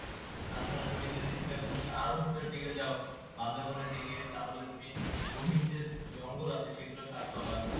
তাছাড়া তুমি যদি সীতাকুন্ড থেকে আরো ভেতর দিকে যাও দিকে বান্ধ বনের দিকে তাহলে তুমি গহীন যে জঙ্গল আছে সেগুলো স্বাদ পাবা